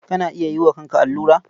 Kana iya yi wa kanka allura?